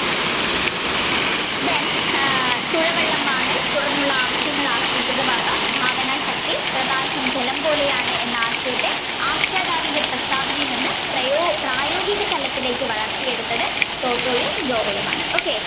Then തുഴവള്ളം വാങ്ങൽ തുടർന്നുള്ള ആവശ്യങ്ങൾ ഭാവനശക്തി പ്രകാശം ജലം പോലെയാണ് എന്ന ആശയത്തെ ആഖ്യാതാവിന്റെ പ്രസ്താവനയിൽ നിന്നു പ്രയോ~പ്രായോഗികതലത്തിലേക് വളർത്തിയെടുത്തത് ടോട്ടോയും ജോവാലുമാണ്. okay